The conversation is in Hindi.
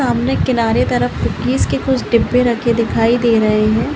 सामने किनारे तरफ कुकीज के कुछ डिब्बे रखे दिखाई दे रहे है।